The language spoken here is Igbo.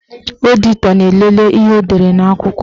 Ọditọ na-elele ihe edere n'akwụkwọ.